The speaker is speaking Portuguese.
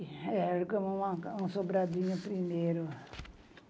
É, alugamos um sobradinho primeiro.